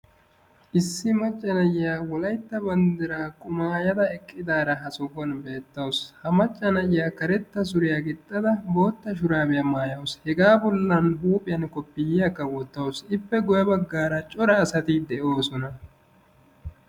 Issi macca na"iya wolaytta banddiraa qumaayada eqqidaara ha sohuwan beettawusu. Ha macca na"iya karetta suriya gixxada bootta shuraabiya maayaasu. Hegaa bollan huuphiyan koppiyyiyakka wottawus. Ippe guyye baggaara cora asati de"oosona.